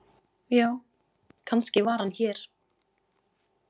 Já, kannski var hann hér.